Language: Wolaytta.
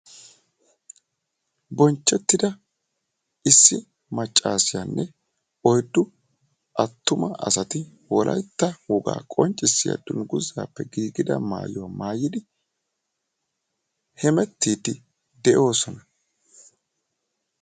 bonchchetida issi maccassiyaanne oyddu attuma asati wolaytta woga qonccissiya dungguzappe giigida maayuwaa maayyidi hemettide de'oosona.